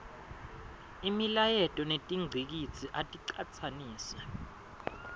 imilayeto netingcikitsi aticatsanise